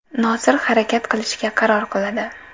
Nosir harakat qilishga qaror qiladi.